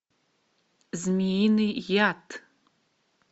змеиный яд